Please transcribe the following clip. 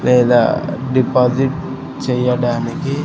లేదా డిపాజిట్ చెయ్యడానికి.